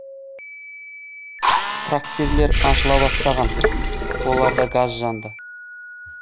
трактирлер ашыла бастаған оларда газ жанды